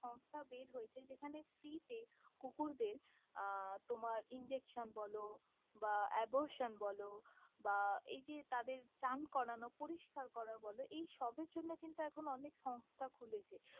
সংস্থা বের হয়েছে যেখানে free te কুকুর দের আহ তোমার injection বলো বা abortion বলো বা এই যে তাদের চান করানো পরিস্কার করা বলো এই সবের জন্য কিন্তু এখন অনেক সংস্থা খুলেছে।